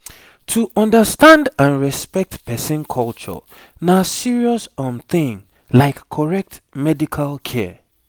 to understand and respect person culture na serious um thing like correct medical care